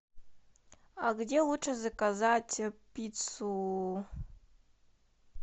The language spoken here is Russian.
а где лучше заказать пиццу